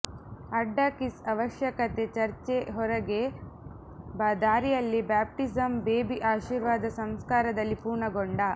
ಅಡ್ಡ ಕಿಸ್ಸ್ ಅವಶ್ಯಕತೆ ಚರ್ಚ್ ಹೊರಗೆ ದಾರಿಯಲ್ಲಿ ಬ್ಯಾಪ್ಟಿಸಮ್ ಬೇಬಿ ಆಶೀರ್ವಾದ ಸಂಸ್ಕಾರದಲ್ಲಿ ಪೂರ್ಣಗೊಂಡ